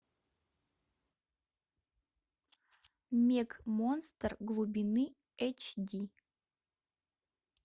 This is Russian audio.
мег монстр глубины эйч ди